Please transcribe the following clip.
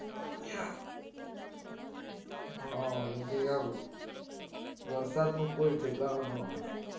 હા જેમકે એવું, વરસાદ નું કઈ ઠેકાણું ના હોય